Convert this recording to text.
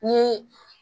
Ni